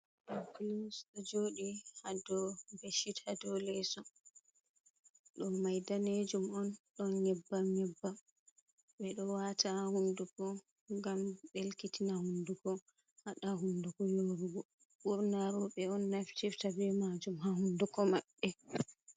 Lipglos do jodi ha do becchit hado leso do mai danejum on don nyebba nyebba be do wata ha hundugo gam belkitina hundugo hada hunduko yorugo burna robe on naftirita be majum ha hunduko mabbe.